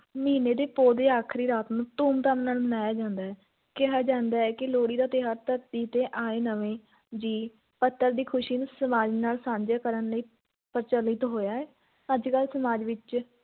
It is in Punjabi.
ਮਹੀਨੇ ਦੇ ਪੋਹ ਦੇ ਆਖ਼ਰੀ ਰਾਤ ਨੂੰ ਧੂਮ-ਧਾਮ ਨਾਲ ਮਨਾਇਆ ਜਾਂਦਾ ਹੈ, ਕਿਹਾ ਜਾਂਦਾ ਹੈ ਕਿ ਲੋਹੜੀ ਦਾ ਤਿਉਹਾਰ ਧਰਤੀ 'ਤੇ ਆਏ ਨਵੇਂ ਜੀਅ, ਪੁੱਤਰ ਦੀ ਖ਼ੁਸ਼ੀ ਨੂੰ ਸਮਾਜ ਨਾਲ ਸਾਂਝੀ ਕਰਨ ਲਈ ਪ੍ਰਚਲਿਤ ਹੋਇਆ ਹੈ, ਅੱਜ-ਕੱਲ੍ਹ ਸਮਾਜ ਵਿੱਚ